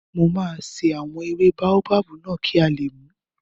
Mo máa ṣe àwọn ewé báóbábù náà kí a lè mùú